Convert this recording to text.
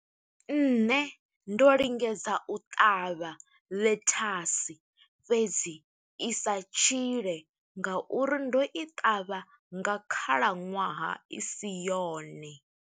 Nṋe ndo lingedza u ṱavha ḽethasi, fhedzi i sa tshile nga uri ndo i ṱavha nga khalaṅwaha i si yone.